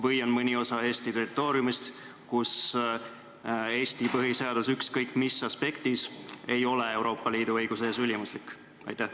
Või on mõni osa Eesti territooriumist selline, kus Eesti põhiseadus, ükskõik mis aspektis, ei ole Euroopa Liidu õiguse ees ülimuslik?